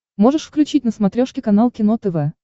можешь включить на смотрешке канал кино тв